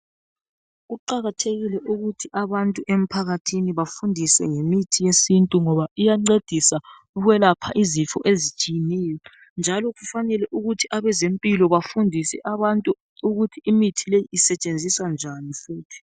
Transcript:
Kuqakathekile ukuthi abantu emphakathini bafundiswe ngemithi yesintu ngoba iyancedisa ukwelapha izifo ezitshineyo njalo kufanele ukuthi abezempilo bafundise abantu ukuthi imithi le isetshenziswa njani futhi.